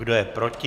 Kdo je proti?